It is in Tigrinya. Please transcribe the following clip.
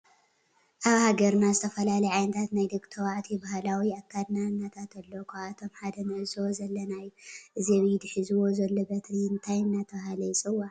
አብ ሃገርና ዝተፈላለዩ ዓይነታት ናይ ደቂ ተባዕትዩ ባህላዊ አክዳድናታት አለዉ ካብአቶም ሓደ ንዕዞቦ ዘለና እዩ። እዚ አብ ኢዱ ሕዝዎ ዘሎ በትሪ እንታይ እናተባህለ ይፅዋዕ?